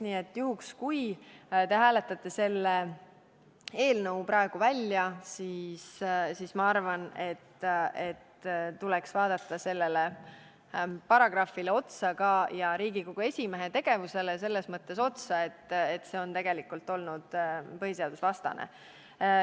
Nii et kui te hääletate selle eelnõu praegu välja, siis ma arvan, et tuleks vaadata seda paragrahvi ja Riigikogu esimehe tegevust selles mõttes, et see on tegelikult olnud põhiseadusvastane.